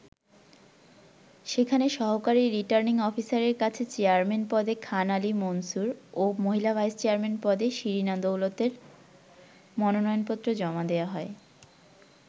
সেখানে সহকারী রির্টানিং অফিসারের কাছে চেয়ারম্যান পদে খান আলী মুনসুর ও মহিলা ভাইস-চেয়ারম্যান পদে শিরিনা দৌলতের মনোনয়নপত্র জমা দেয়া হয়।